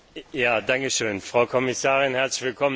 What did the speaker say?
Frau Kommissarin, herzlich willkommen im Parlament.